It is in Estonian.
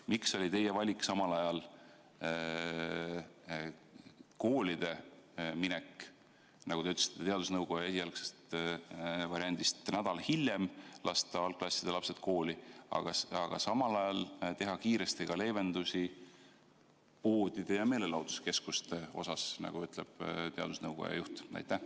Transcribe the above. Miks oli teie valik kooli minek, nagu te ütlesite, teadusnõukoja esialgsest variandist nädal hiljem, lasta algklasside lapsed hiljem kooli, aga samal ajal teha kiiresti leevendusi poodide ja meelelahutuskeskuste osas, nagu ütleb teadusnõukoja juht?